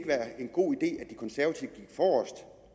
være en god idé at at de konservative